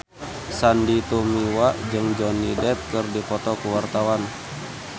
Sandy Tumiwa jeung Johnny Depp keur dipoto ku wartawan